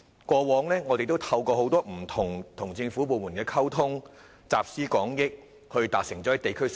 過往我們不時透過與不同政府部門溝通，集思廣益，促成很多地區建設。